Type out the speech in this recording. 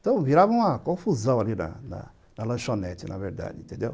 Então, virava uma confusão ali na na na lanchonete, na verdade, entendeu?